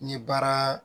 N ye baara